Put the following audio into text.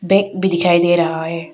एक भी दिखाई दे रहा है।